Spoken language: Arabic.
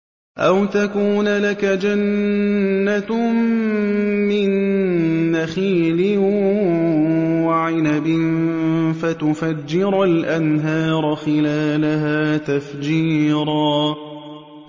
أَوْ تَكُونَ لَكَ جَنَّةٌ مِّن نَّخِيلٍ وَعِنَبٍ فَتُفَجِّرَ الْأَنْهَارَ خِلَالَهَا تَفْجِيرًا